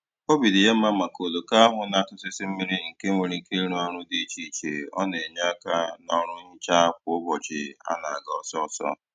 Obi dị ya mma maka oloko ahụ na - atụsịsị mmiri nke nwere ike ịrụ ọrụ dị iche iche, ọ na-enye aka n' ọrụ nhicha kwa ụbọchị a na-aga ọsọọsọ